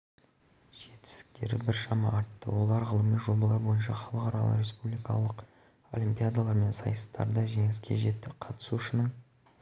астананың білім саласы бірінші кезекте сапаға назар аударады өткен жылдың қорытындысына сәйкес елордалық оқушылардың білім саласындағы